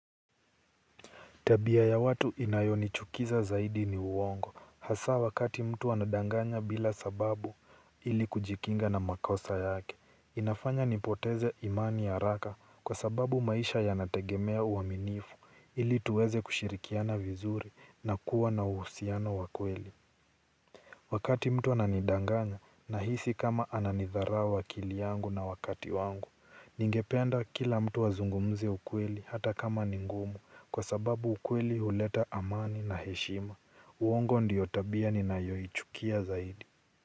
Tabia ya watu inayonichukiza zaidi ni uongo hasa mtu anapodanganya bila sababu ili kujikinga na makosa yake, inafanya nipoteze imani haraka kwa sababu maisha yanategemea uaminifu ili tuweze kushirikiana vizuri na kuwa na uhusiano wa kweli. Wakati mtu ananidanganya nahisi kama ananitharau akili yangu na wakati wangu, ningependa kila mtu azungumze ukweli hata kama ni ngumu kwa sababu ukweli huleta amani na heshima. Uongo ndiyo tabia ninayoichukia zaidi.